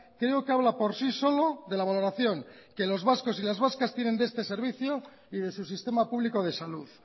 creo que habla por sí solo de la valoración que los vascos y las vascas tienen de este servicio y de su sistema público de salud